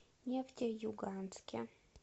нефтеюганске